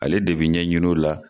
Ale de bi ɲɛɲin'o la